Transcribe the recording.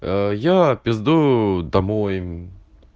аа я пиздую домой